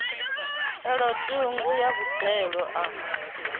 elo ṱhungu ya boḓelo a